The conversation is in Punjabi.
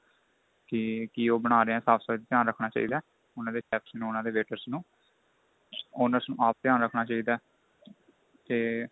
ਕੀ ਕੀ ਉਹ ਬਣਾ ਰਹੇ ਏਸਾਫ਼ ਸਫਾਈ ਚ ਧਿਆਨ ਰੱਖਣਾ ਚਾਹੀਦਾ ਉਹਨਾ ਦੇ chefs ਨੂੰ ਉਹਨਾ ਦੇ waiter ਨੂੰ honors ਨੂੰ ਆਪ ਧਿਆਨ ਰੱਖਣਾ ਚਾਹੀਦਾ ਤੇ